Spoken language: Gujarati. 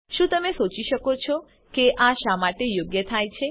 શું તમે સોચી શકો છે કે આ શા માટે યોગ્ય થાય છે